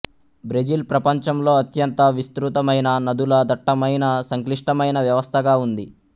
Brazil ప్రపంచంలో అత్యంత విస్తృతమైన నదుల దట్టమైన సంక్లిష్టమైన వ్యవస్థగా ఉంది